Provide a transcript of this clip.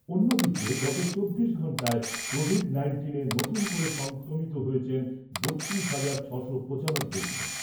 অন্যদিকে গত চব্বিশ ঘন্টায় কোভিড নাইন্টিনে নতুন করে সংক্রমিত হয়েছেন বত্রিশ হাজার ছশো পঁচানব্বই জন।